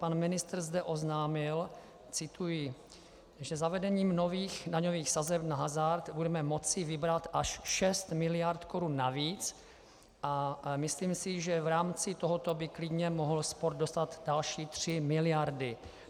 Pan ministr zde oznámil - cituji - že zavedením nových daňových sazeb na hazard budeme moci vybrat až 6 miliard korun navíc, a myslím si, že v rámci tohoto by klidně mohl sport dostat další 3 miliardy.